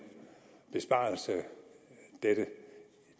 besparelse dette